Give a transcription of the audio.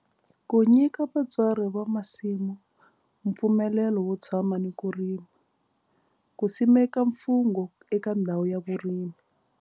Ku nyika vatswari va masimu mpfumelelo wo tshama ni ku rima. Ku simeka mfungho eka ndhawu ya vurimi.